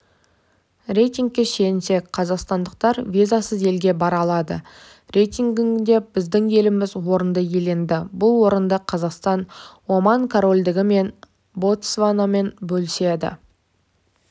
рейтингке сүйенсек қазақстандықтар визасыз елге бара алады рейтингінде біздің еліміз орынды иеленді бұл орынды қазақстан оман корольдігі мен ботсванамен бөліседі